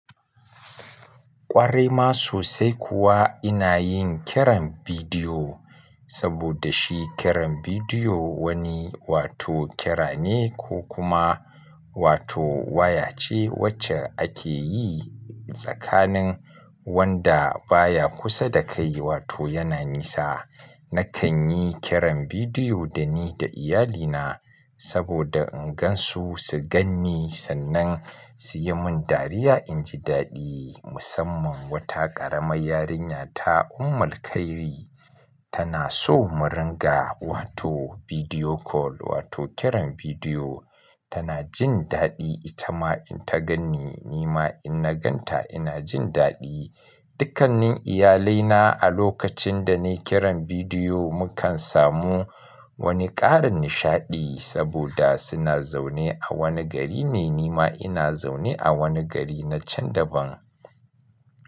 Ƙwarai ma sosai kuwa ina yin kiran bidiyo, saboda shi kiran bidiyo wani wato kira ne ko kuma wato waya ce wacce ake yi tsakanin wanda baya kusa da kai wato yana nisa. Nakan yi kiran bidiyo da ni da iyalina saboda in gan su, su gan ni sannan su yi mun dariya in ji daɗi. Musamman wata ƙaramar yarinya ta Ummulkhairi tana so mu ringa wato video call wato kiran bidiyo. Tana jin daɗi ita ma in ta gan ni, ni ma in na gan ta ina jin daɗi. Dukkanin iyalaina a lokacin da ne kiran bidiyo mukan samu wani ƙarin nishaɗi saboda suna zaune a wani gari ne, ni ma ina zaune a wani gari na can daban.